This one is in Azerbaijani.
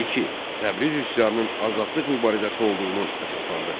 2. Təbriz üsyanının azadlıq mübarizəsi olduğunu əsaslandır.